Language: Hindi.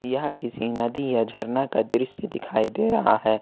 यहां किसी नदी या झरना का दृश्य दिखाई दे रहा है।